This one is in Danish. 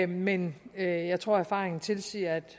men jeg tror erfaringen tilsiger at